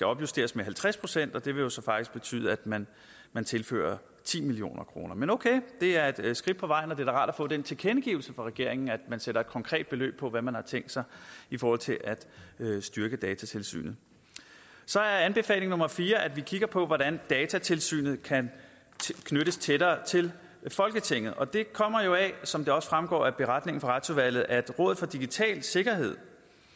opjusteres med halvtreds pct og det ville jo så faktisk betyde at man man tilførte ti million kroner men okay det er et skridt på vejen og det er da rart at få den tilkendegivelse fra regeringen at man sætter et konkret beløb på hvad man har tænkt sig i forhold til at styrke datatilsynet så er anbefaling nummer fire at vi kigger på hvordan datatilsynet kan knyttes tættere til folketinget og det kommer jo af som det også fremgår af beretningen fra retsudvalget at rådet for digital sikkerhed